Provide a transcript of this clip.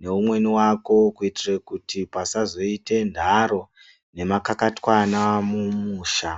neumweni wako kuitire kuti pazoite nharo nemakakatanwa mumusha.